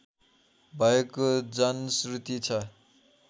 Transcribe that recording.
भएको जनश्रुति छ